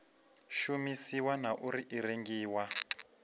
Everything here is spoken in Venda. shumisiwa na uri i rengiwa